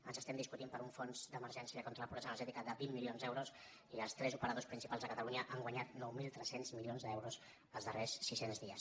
ens estem discutint per un fons d’emergència contra la pobresa energètica de vint milions d’euros i els tres operadors principals a catalunya han guanyat nou mil tres cents milions d’euros els darrers sis cents dies